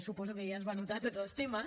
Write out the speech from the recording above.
suposo que ja es va anotar tots els temes